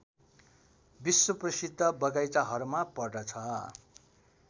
विश्वप्रसिद्ध बगैंचाहरूमा पर्दछ